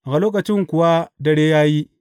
A lokacin kuwa dare ya yi.